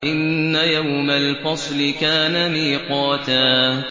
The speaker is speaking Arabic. إِنَّ يَوْمَ الْفَصْلِ كَانَ مِيقَاتًا